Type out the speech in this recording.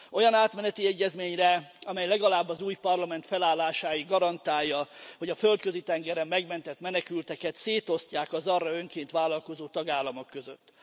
Olyan átmeneti egyezményre, amely legalább az új Parlament felállásáig garantálja, hogy a Földközi tengeren megmentett menekülteket szétosztják az arra önként vállalkozó tagállamok között.